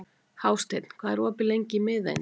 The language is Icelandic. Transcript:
Hásteinn, hvað er opið lengi í Miðeind?